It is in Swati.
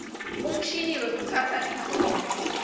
umshini wekutsatsa titfombe